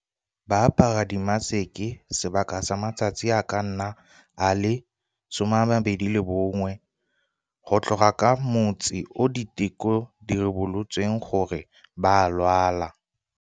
Ba apara dimaseke sebaka sa matsatsi a ka nna a le 21, go tloga ka motsi o diteko di ribolotseng gore ba a lwala.